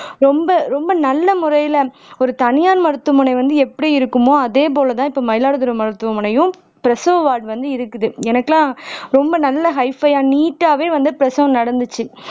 ரொம்ப ரொம்ப நல்ல முறையில ஒரு தனியார் மருத்துவமனை வந்து எப்படி இருக்குமோ அதேபோல தான் இப்போ மயிலாடுதுறை மருத்துவமனையும் பிரசவ வார்டு வந்து இருக்குது எனக்கெல்லாம் ரொம்ப நல்லா ஹை பை-யா நீட்டாவே வந்து பிரசவம் நடந்துச்சு